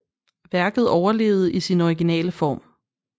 Værket overlevede i sin originale form